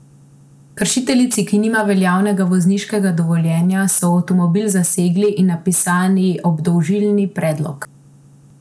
Kršiteljici, ki nima veljavnega vozniškega dovoljenja, so avtomobil zasegli in napisali obdolžilni predlog.